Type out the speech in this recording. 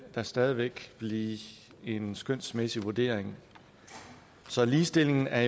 det stadig væk blive en skønsmæssig vurdering så ligestillingen er